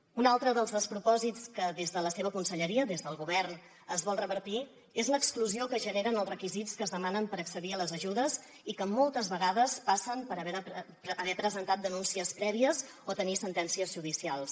un altre dels despropòsits que des de la seva conselleria des del govern es vol revertir és l’exclusió que generen els requisits que es demanen per accedir a les ajudes i que moltes vegades passen per haver presentat denúncies prèvies o tenir sentències judicials